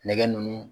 Nɛgɛ nunnu